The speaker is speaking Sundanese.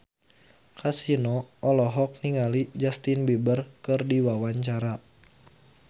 Kasino olohok ningali Justin Beiber keur diwawancara